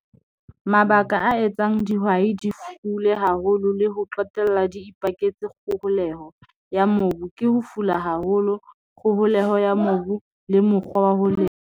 Mabaka a etsang dihwai di fule haholo le ho qetella di ipaketse kgoholeho ya mobu, ke ho fula haholo kgoholeho ya mobu le mokgwa wa ho lema.